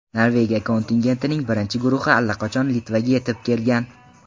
Norvegiya kontingentining birinchi guruhi allaqachon Litvaga yetib kelgan.